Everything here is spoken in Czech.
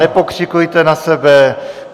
Nepokřikujte na sebe!